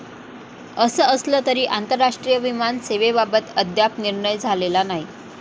असं असलं तरी आंतरराष्ट्रीय विमान सेवेबाबत अद्याप निर्णय झालेला नाही.